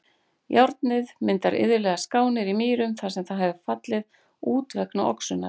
Járnið myndar iðulega skánir í mýrum þar sem það hefur fallið út vegna oxunar.